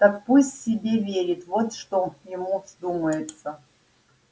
так пусть себе верит вот что ему вздумается